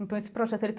Então esse projeto